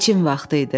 Biçim vaxtı idi.